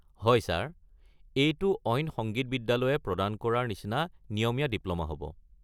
হয় ছাৰ, এইটো অইন সংগীত বিদ্যালয়ে প্ৰদান কৰাৰ নিচিনা নিয়মীয়া ডিপ্ল'মা হ'ব।